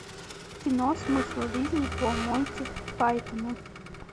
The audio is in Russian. кино смысл жизни по монти пайтону